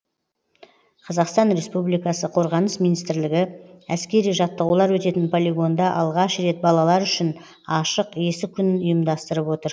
қазақстан республикасы қорғаныс министрлігі әскери жаттығулар өтетін полигонда алғаш рет балалар үшін ашық есік күнін ұйымдастырып отыр